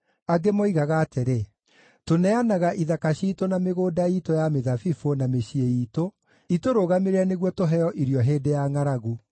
Angĩ moigaga atĩrĩ, “Tũneanaga ithaka ciitũ na mĩgũnda iitũ ya mĩthabibũ, na mĩciĩ iitũ itũrũgamĩrĩre nĩguo tũheo irio hĩndĩ ya ngʼaragu.”